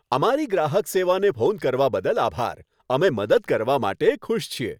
અમારી ગ્રાહક સેવાને ફોન કરવા બદલ આભાર. અમે મદદ કરવા માટે ખુશ છીએ.